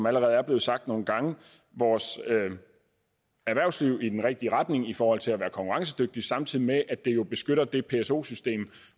allerede er blevet sagt nogle gange vores erhvervsliv i den rigtige retning i forhold til at være konkurrencedygtige samtidig med at det jo beskytter det pso system